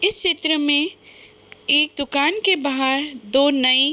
इस चित्र में एक दुकान के बाहर दो नई --